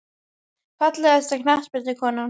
Fallegasta knattspyrnukonan?